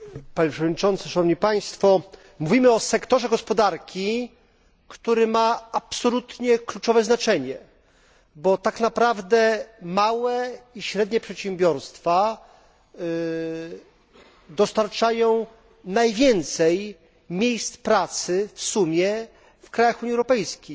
Panie Przewodniczący! Mówimy o sektorze gospodarki, który ma absolutnie kluczowe znaczenie, bo tak naprawdę małe i średnie przedsiębiorstwa dostarczają najwięcej miejsc pracy w sumie w krajach Unii Europejskiej.